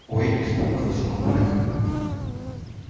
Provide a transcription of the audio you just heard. ой испугалась мамулька